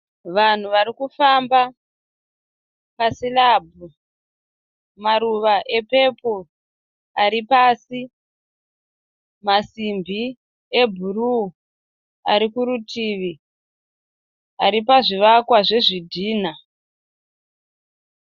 Vanhu varikufamba pasirabhu, maruva epepo ari pasi , masimbi ebhuruu arikurutivi aripazvivakwa zvezvidhinha.